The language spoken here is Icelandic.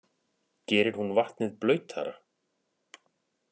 Gerir hún vatnið blautara?